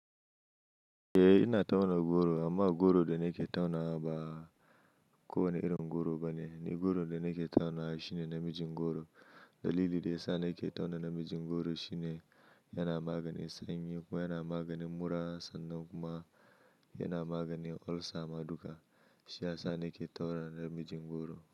Eh ina tauna goro amma goro da nake tauna ba kowane irin goro bane. Ni goron da nake tauna shine namijin goro. Dalili da yasa nake tauna namijin goro shine yana maganin sanyi kuma yana maganin mura sannan kuma yana maganin ulcer ma duka. Shi yasa nake tauna namijin goro.